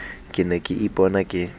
ke ne ke ipona ke